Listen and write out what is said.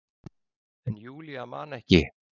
En Júlía man ekki.